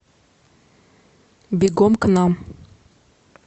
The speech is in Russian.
бегом к нам